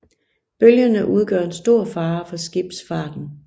Bølgerne udgør en stor fare for skibsfarten